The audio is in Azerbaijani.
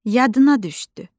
Yadına düşdü.